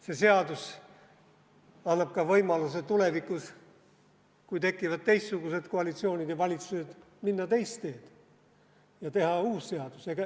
See seadus annab ka võimaluse tulevikus, kui tekivad teistsugused koalitsioonid ja valitsused, minna teist teed ja teha uus seadus.